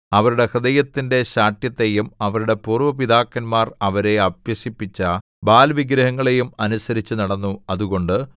അവരുടെ ഹൃദയത്തിന്റെ ശാഠ്യത്തെയും അവരുടെ പൂര്‍വ്വ പിതാക്കന്മാർ അവരെ അഭ്യസിപ്പിച്ച ബാല്‍ വിഗ്രഹങ്ങളെയും അനുസരിച്ചുനടന്നു അതുകൊണ്ട്